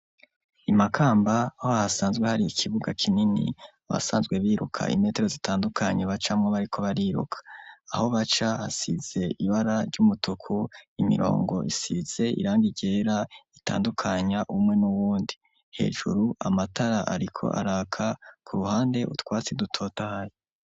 I Makamba aho hasanzwe hari ikibuga kinini basanzwe biruka imetero zitandukanye bacamwo bariko bariruka, aho baca hasize ibara ry'umutuku imirongo isize irangi ryera itandukanya umwe n'uwundi ,hejuru amatara ariko araka, ku ruhande utwatsi dutotahaye.